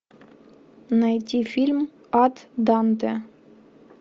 найти фильм ад данте